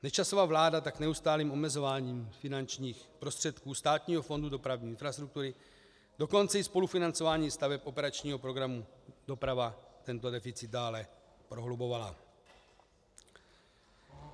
Nečasova vláda tak neustálým omezováním finančních prostředků Státního fondu dopravní infrastruktury, dokonce i spolufinancováním staveb operačního programu Doprava tento deficit dále prohlubovala.